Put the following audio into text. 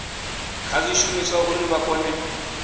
kha zwishumiswa uri vha kone